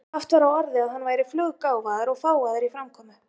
Haft var á orði að hann væri fluggáfaður og fágaður í framkomu.